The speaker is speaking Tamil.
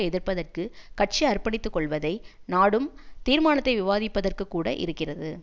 எதிர்ப்பதற்கு கட்சி அர்ப்பணித்து கொள்வதை நாடும் தீர்மானத்தை விவாதிப்பதற்கு கூட இருக்கிறது